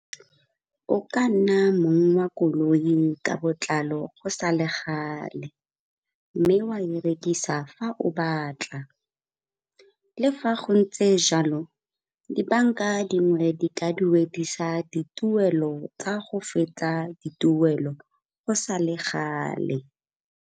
O ka nna mong wa koloi ka botlalo go sa le gale, mme wa e rekisa fa o batla. Le ga go ntse jalo di-bank-a dingwe di ka duedisa dituelo tsa go fetsa dituelo go sa le gale.